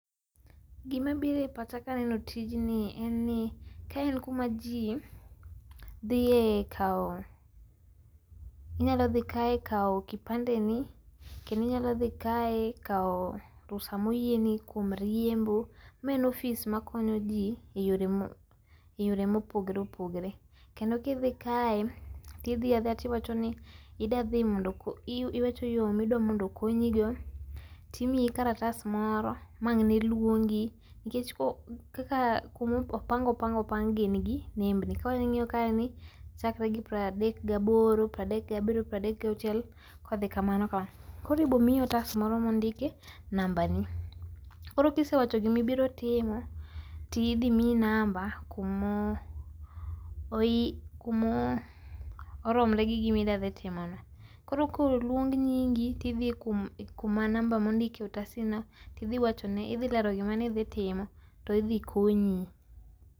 gima bire pacha kaneno tijni en ni ka en kama jii dhie kao inyalo dhi kae kao kipande ni kendo inyalo dhi kae kao rusa moyieni kuom riembo. Ma en ofis makonyo jii eyore ma mopogore opogore kendo kidhi kae tidhi adhiya tiwacho ni iwacho yoo midwani okonyigo timiyi karatas moro mawang' ne luongi nikech ko kaka kuma opangi opangi opang'gi nembni koro ing'iyo kaeni chakre gi pradek gi aboro, pradek gi abiriyo ,pradek gi auchiel kodhi kamano kamano koro ibo miyi otas moro mondik e nambani koro kisewacho gibibiro timo tidhi miyi namba kumoromre gi gimidwadhi timono koro koluong nyingi tidhi kuma namba mondiki e otasi no tidhiwacho ne tidhi lero giminidhi timo tidhi konyi .